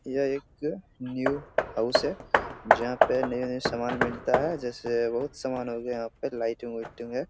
यह एक new house है जहां पे नए-नए सामान मिलता है जैसे बहुत समान हो गया यहां पे लाइटिंग उटिंग है।